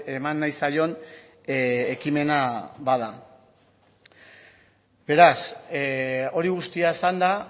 eman nahi zaion ekimena bada beraz hori guztia esanda